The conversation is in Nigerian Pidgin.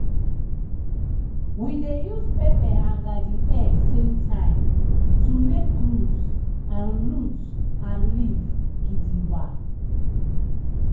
we dey use pepper and garden egg same time to make root and root and leaf gidigba.